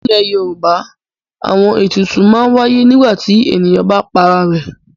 Nílẹ̀ Yorùbá àwọn ètùtù máa ń wáyé nígbà tí ènìyàn bá para rẹ̀.